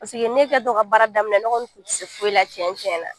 Paseke ne kɛ tɔ ka baara daminɛ, ne kɔni kun tɛ se foyi la tiɲɛ tiɲɛ na.